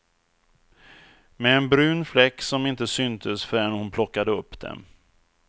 Med en brun fläck som inte syntes förrän hon plockade upp dem.